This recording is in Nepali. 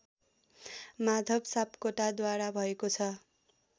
माधव सापकोटाद्वारा भएको छ